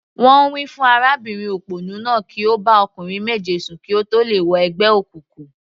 Wọ́n wí fún arábìnrin òpònú náà kí ó bá ọkùnrin méje sùn kí ó tó lè wọ ẹgbẹ́ òkùnkùn.